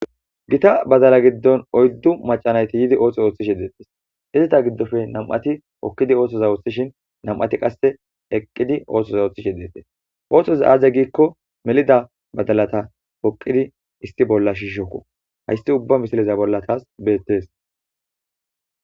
gita badala giddon oyddu macanayti yiidi oothos ooththishi deettes izita giddofe nam'ati hokkidi oothoza oththishin nam'ati qasse eqqidi oothoza ooththishi deettes oohthoz aze giikko melida badalata poqidi issi bolla shiishokko haysti ubba misileza bolla taas beettees